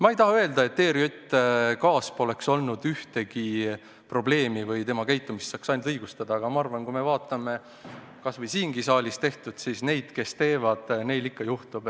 Ma ei taha öelda, et ERJK-s pole olnud ühtegi probleemi või et komisjoni käitumist saab ainult õigustada, aga kui me vaatame kas või siingi saalis tehtut, siis ma arvan, et neil, kes teevad, ikka juhtub.